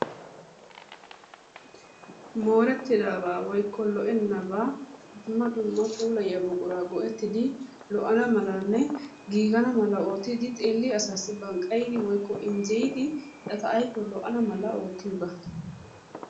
moorettidabaa woykko lo"enabaa dumma dumma puulayiyaa buquraa go"ettidi lo"ana malanne giigana mala oottidi xeelliyaa asaasi banqqayidi woykko injjeyidi eta aypee lo"ana mala oottiyoogaa.